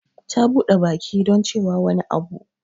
Ta bude baki don cewa wani abu.